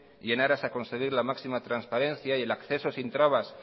y en aras a conseguir la máxima transparencia y el acceso sin trabas